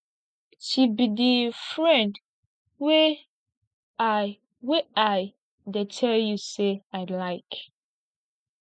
she be the friend wey i wey i tell you say i iike